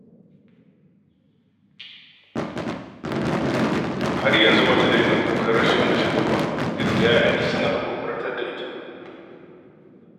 Har yanzu ba ta daina kukan rashin mijinta ba, duk da 'ya'yanta suna haƙurƙurtar da ita.